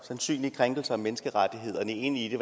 sandsynlige krænkelser af menneskerettighederne ind i det